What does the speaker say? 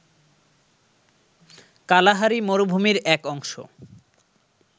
Kalahari মরুভূমির এক অংশ